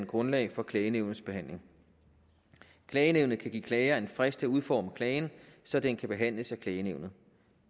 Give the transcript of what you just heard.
grundlag for klagenævnets behandling klagenævnet kan give klager en frist til at udforme klagen så den kan behandles af klagenævnet